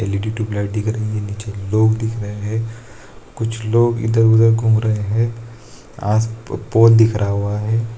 LED. Tube light दिख रही है नीचे लोग दिख रहे है कुछ लोग इधर-उधर घूम रहे हैं आस पोल दिख रहा हुआ हैं।